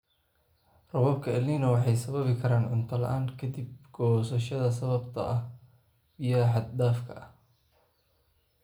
Roobabka El Niño waxay sababi karaan cunto-la'aan ka dib goosashada sababtoo ah biyaha xad dhaafka ah.